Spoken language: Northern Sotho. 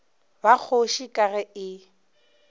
ba kgoši ka ge e